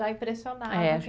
Já impressionava.